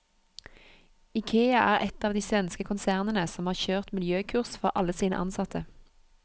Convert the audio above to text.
Ikea er ett av de svenske konsernene som har kjørt miljøkurs for alle sine ansatte.